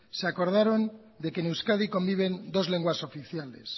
se acordaron de que en euskadi conviven dos lenguas oficiales